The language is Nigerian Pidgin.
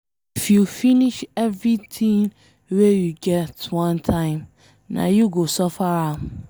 If you finish everything wey you get one time, nah you go suffer am.